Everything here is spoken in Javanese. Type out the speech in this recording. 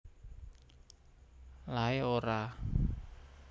Lae Ora